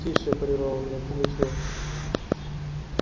тише прервал меня пугачёв